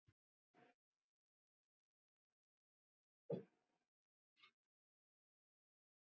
Þeir jákvæðu voru oftar karlmenn sem sendir höfðu verið í sveit sem börn.